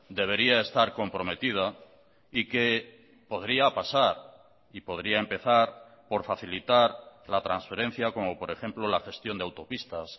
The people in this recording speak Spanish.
debería estar comprometida y que podría pasar y podría empezar por facilitar la transferencia como por ejemplo la gestión de autopistas